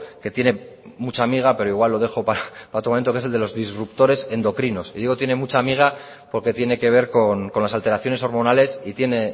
que tiene mucha miga pero igual lo dejo para otro momento que es el de los disruptores endocrinos y digo tiene mucha miga porque tiene que ver con las alteraciones hormonales y tiene